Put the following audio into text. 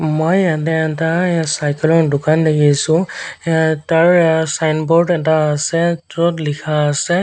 মই ইয়াতে এটা এ চাইকেল ৰ দোকান দেখিছোঁ এ তাৰ এ ছাইনবোৰ্ড এটা আছে য'ত লিখা আছে--